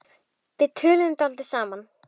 Við töluðum dálítið saman.